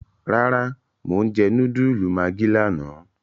Rárá Mo n jẹ núdúlù maggi lààná